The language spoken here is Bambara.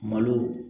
Malo